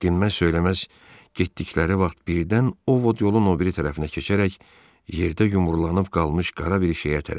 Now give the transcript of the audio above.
Dinməz-söyləməz getdikləri vaxt birdən Ovod yolun o biri tərəfinə keçərək yerdə yumrulanaq qalmış qara bir şeyə tərəf əyildi.